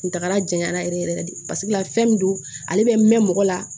Kuntagala janyana yɛrɛ yɛrɛ yɛrɛ de paseke la fɛn min don ale bɛ mɛn mɔgɔ la